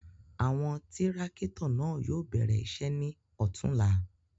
Awọn tirakito náa yóò bẹrẹ iṣẹ ni ọtunla